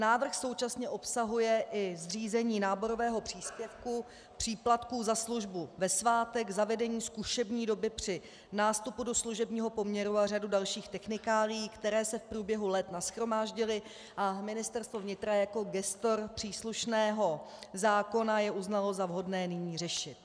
Návrh současně obsahuje i zřízení náborového příspěvku, příplatku za službu ve svátek, zavedení zkušební doby při nástupu do služebního poměru a řadu dalších technikálií, které se v průběhu let nashromáždily, a Ministerstvo vnitra jako gestor příslušného zákona je uznalo za vhodné nyní řešit.